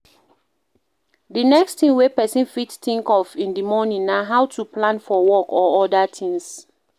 The next thing wey person fit think of in di morning na how to plan for work or oda things